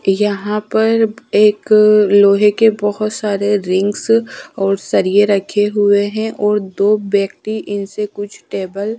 यहां पर एक लोहे के बहुत सारे रिंग्स और सरिए रखे हुए हैं और दो व्यक्ति इनसे कुछ टेबल --